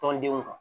Tɔndenw kan